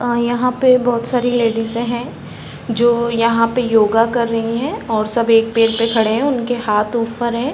अ यहाँ पे बहोत सारी लेडीसें हैं। जो यहाँ पे योगा कर रही हैं और सब एक पेर पे खड़े हैं। उनके हाँथ ऊपर हैं।